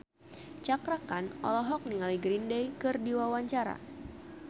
Cakra Khan olohok ningali Green Day keur diwawancara